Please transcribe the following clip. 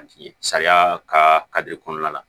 Sariya ka kɔnɔna la